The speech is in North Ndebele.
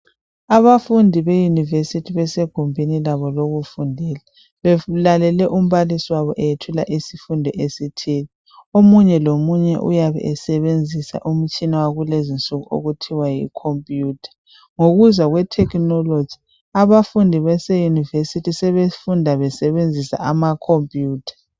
Abafundi be university besegumbini labo lokufundela belalele umbalisi wabo eyethula isifundo esithile omunye lomunye uyabe esebenzisa umutshina wakulezi nsuku okuthiwa yi computer ngokuza kwetechnology abafundi base university sebefunda besebenzisa ama computer.